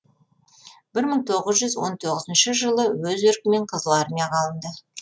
бір мың тоғыз жүз он тоғызыншы жылы өз еркімен қызыл армияға алынды